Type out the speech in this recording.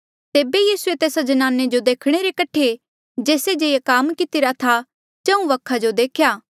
तेबे यीसूए तेस्सा ज्नाने जो देखणे रे कठे जेस्से जे ये काम कितिरा था चहुँ वखा जो देख्या